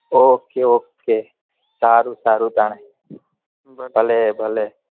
ok ok સારું તાનેભલે ભલે